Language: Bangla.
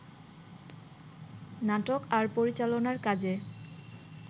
নাটক আর পরিচালনার কাজে